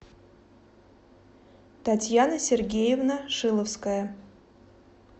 татьяна сергеевна шиловская